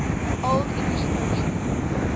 old english poetry